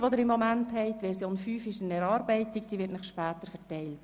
Die Version 5 befindet sich in der Erarbeitung und wird Ihnen später ausgeteilt.